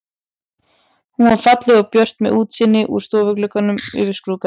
Hún var falleg og björt með útsýni úr stofugluggunum yfir skrúðgarðinn.